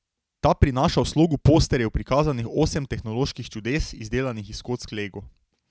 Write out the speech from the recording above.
Ta prinaša v slogu posterjev prikazanih osem tehnoloških čudes, izdelanih iz kock Lego.